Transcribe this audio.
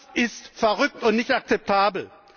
Das ist verrückt und nicht akzeptabel!